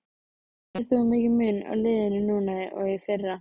Finnur þú mikinn mun á liðinu núna og í fyrra?